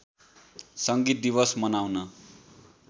सङ्गीत दिवस मनाउन